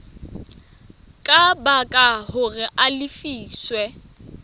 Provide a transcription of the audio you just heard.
ka baka hore a lefiswe